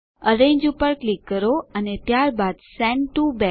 arrange પર click કરો અને ત્યારબાદ સેન્ડ ટીઓ બેક